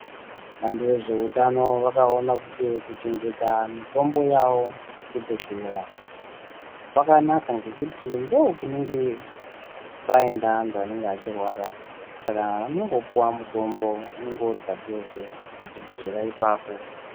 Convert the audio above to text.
Vantu vezveutano vakaona kuti kuchengeta mitombo yavo muzvibhedhleya kwakanaka ngekuti ndokunenge kwaenda anthu anenge achirwara saka anongopuwa mutombo, mutombo unenge uripadhuze pachibhedhlera ipapo.